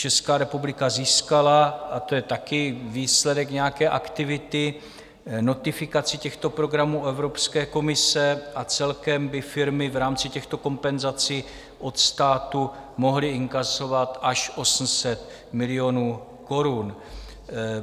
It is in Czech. Česká republika získala - a to je taky výsledek nějaké aktivity - notifikaci těchto programů Evropské komise a celkem by firmy v rámci těchto kompenzací od státu mohly inkasovat až 800 milionů korun.